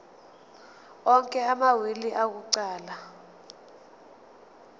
onke amawili akuqala